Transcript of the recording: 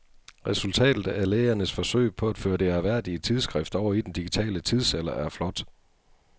Resultatet af lægernes forsøg på at føre det ærværdige tidsskrift over i den digitale tidsalder er flot.